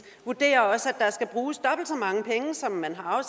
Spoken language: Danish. vurderer også at der skal bruges dobbelt så mange penge som man har